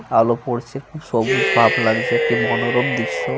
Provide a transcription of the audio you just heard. আলো পড়ছে। খুব সবুজ ভাব লাগছে। একটি মনোরম দৃশ্য়।